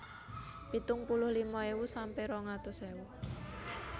pitung puluh lima ewu sampe rong atus ewu